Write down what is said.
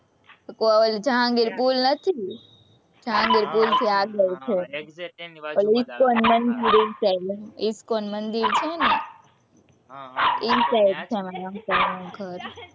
ઓલો જહાંગીર પૂર નથી, જહાંગીર પૂરથી આગળ છે, ઇસ્કોન મંદિર એ side, ઇસ્કોન મંદિર છે ને, એ side છે, મારા uncle નું ઘર